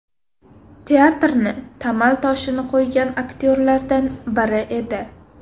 Teatrni tamal toshini qo‘ygan aktyorlardan biri edi.